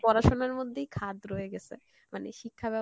পড়াশোনার মধ্যেই খাদ রয়ে গেসে, মানে শিক্ষা